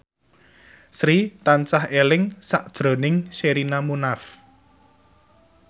Sri tansah eling sakjroning Sherina Munaf